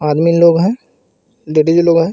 आदमी लोग हैं लेडिस लोग हैं.